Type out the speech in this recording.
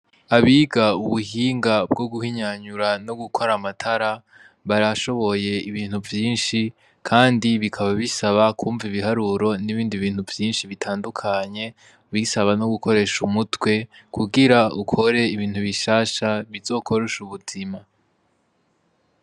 Abiga ubuhinga bwo guhinyanyura no gukora amatara barashoboye ibintu vyishi, kandi bikaba bisaba kwumva ibiharuro nibindi bintu vyinshi bitandukanye bisaba no gukoresha umutwe kugira ukore ibintu bishasha bizokworosha ubuzima.